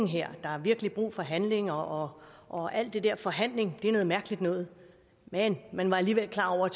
her der er virkelig brug for handling og og alt det der forhandling er noget mærkeligt noget men man var alligevel klar over